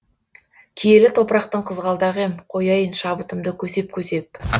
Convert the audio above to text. киелі топырақтың қызғалдағы ем қояйын шабытымды көсеп көсеп